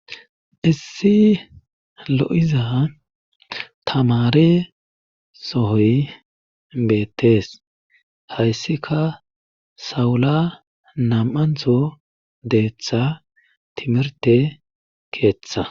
issi lo7iza tamare sohoy beettees hayssika sawula nam7antho deeththa timirte keeththa